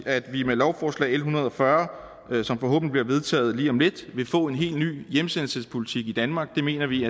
at vi med lovforslag en hundrede og fyrre som forhåbentlig bliver vedtaget lige om lidt vil få en helt ny hjemsendelsespolitik i danmark det mener vi